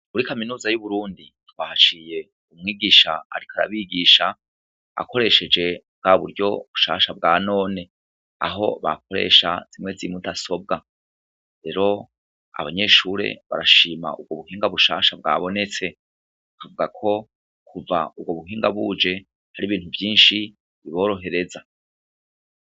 Kuri kaminuza y'uburundi twahashiye umwigisha arika arabigisha, akoresheje bwa buryo bushasha bwa none, aho bakoresha zimwe zimudasobwa, rero abanyeshure barashima uwo buhinga bushasha bwabonetse, tuvwako kuva urwo buhinga buje hari ibintu vyinshi biborohereza.